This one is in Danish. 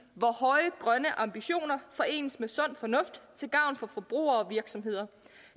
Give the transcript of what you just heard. hvor høje grønne ambitioner forenes med sund fornuft til gavn for forbrugere og virksomheder